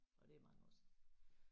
Og det er mange år siden